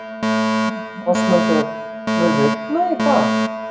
Ásmundur, mun rigna í dag?